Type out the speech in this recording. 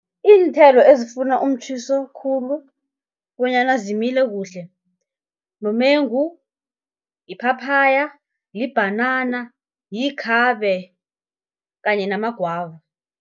Iinthelo ezifuna umtjhiso khulu, bonyana zimile kuhle, mumengu, iphaphaya, libhanana, yikhabe kanye namagwava.